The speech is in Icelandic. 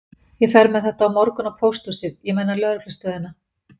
Ég fer með þetta á morgun á pósthúsið, ég meina lögreglustöðina.